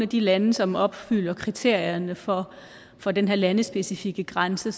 de lande som opfylder kriterierne for for den her landespecifikke grænse